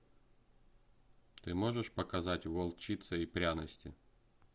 ты можешь показать волчица и пряности